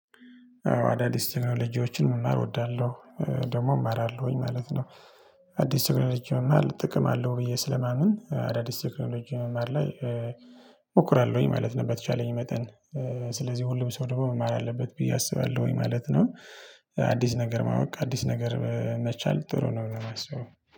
አዳዲስ ቴክኖሎጂዎችን መማር እወዳለሁ ደግሞ እማራለሁኝ ማለት ነው። አዲስ ቴክኖሎጂ መማር ጥቅም አለው ብዬ ስለማምን አዳዲስት ቴክኖሎጂ መማር ላይ እሞክራለሁኝ ማለት ነው በተቻለኝ መጠን። ስለዚህ ሁሉም ሰው ደግሞ መማር አለበት ብዬ አስባለሁኝ ማለት ነው። አዲስ ነገር ማወቅ አዲስ ነገር መቻል ጥሩ ነው የማስበው